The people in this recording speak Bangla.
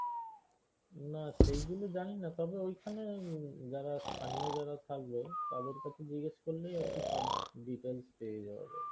না সেই গুলো জানি না তবে ওইখানে যারা স্থানীয় যারা থাকবে তাদের কাছে জিজ্ঞেস করলেই আরকি সব details পেয়ে যাওয়া যাবে।